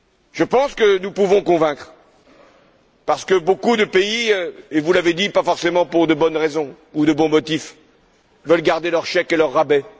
Je pense que nous pouvons convaincre, parce que de nombreux pays vous l'avez dit, pas forcément pour de bonnes raisons ou de bons motifs veulent garder leur chèque et leur rabais.